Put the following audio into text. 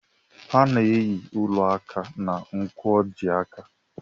A na-eyi ụla áká na nkwojiaka.